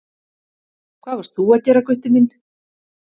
Hvað varst þú að gera Gutti minn?